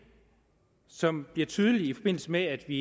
som bliver tydeligt i forbindelse med at vi